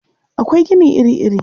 Akwai gini iri-iri.